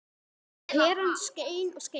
Og peran skein og skein.